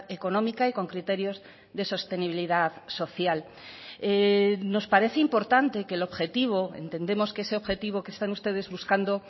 económica y con criterios de sostenibilidad social nos parece importante que el objetivo entendemos que ese objetivo que están ustedes buscando